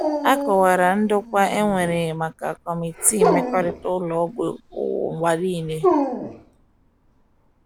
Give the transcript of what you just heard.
A kọwara ndokwa e nwere maka Kọmitii Mmekọrịta Ụlọ Ọgwụ n’ụwa nile.